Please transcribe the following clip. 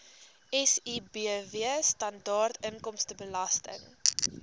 sibw standaard inkomstebelasting